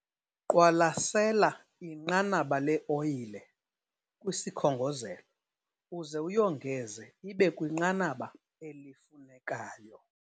Qwalasela inqanaba le-oyile kwisikhongozelo uze uyongeze ibe kwinqanaba elifunekayo.